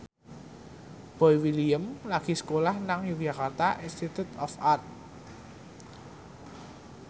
Boy William lagi sekolah nang Yogyakarta Institute of Art